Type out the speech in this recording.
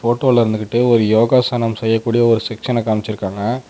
போட்டோல இருந்துகிட்டு ஒரு யோகாசனம் செய்யக்கூடிய ஒரு செக்ஸனை காம்ச்சிருக்காங்க.